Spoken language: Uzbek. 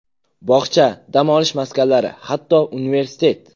Bog‘cha, dam olish maskanlari, hatto, universitet!